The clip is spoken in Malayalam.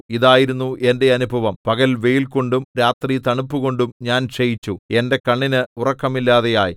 ഇതായിരുന്നു എന്റെ അനുഭവം പകൽ വെയിൽകൊണ്ടും രാത്രി തണുപ്പുകൊണ്ടും ഞാൻ ക്ഷയിച്ചു എന്റെ കണ്ണിന് ഉറക്കമില്ലാതെയായി